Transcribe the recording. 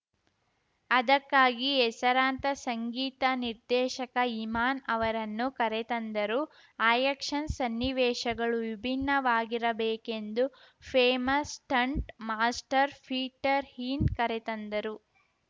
ಅದಕ್ಕಾಗಿ ಹೆಸರಾಂತ ಸಂಗೀತ ನಿರ್ದೇಶಕ ಇಮಾನ್‌ ಅವರನ್ನು ಕರೆ ತಂದರು ಆ್ಯಕ್ಷನ್‌ ಸನ್ನಿವೇಶಗಳು ವಿಭಿನ್ನವಾಗಿರಬೇಕೆಂದು famous stunt master Peter Hein ಕರೆ ತಂದರು